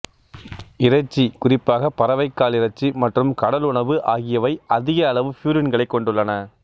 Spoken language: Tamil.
இறைச்சி குறிப்பாக பறவைக் கால் இறைச்சி மற்றும் கடலுணவு ஆகியவை அதிக அளவு பியூரின்களைக் கொண்டுள்ளன